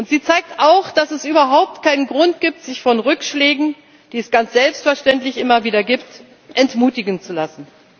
Sie zeigt auch, dass es überhaupt keinen Grund gibt, sich von Rückschlägen, die es ganz selbstverständlich immer wieder gibt, entmutigen zu lassen.